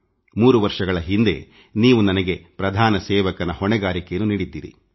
3 ವರ್ಷಗಳ ಹಿಂದೆ ನೀವು ನನಗೆ ಪ್ರಧಾನ ಸೇವಕನ ಹೊಣೆಗಾರಿಕೆಯನ್ನು ನೀಡಿದ್ದಿರಿ